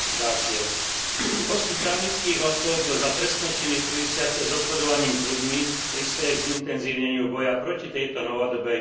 Postih právnických osôb za trestné činy súvisiace s obchodovaním s ľuďmi prispeje k zintenzívneniu boja proti tejto novodobej forme otroctva.